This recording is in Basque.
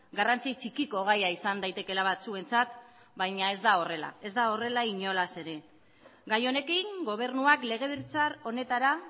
garrantzi txikiko gaia izan daitekeela batzuentzat baina ez da horrela ez da horrela inolaz ere gai honekin gobernuak legebiltzar honetara